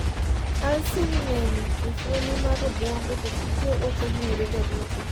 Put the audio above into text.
alsin ng'eny e fuoni mar obwongo, to tije ok ong'ere ga duto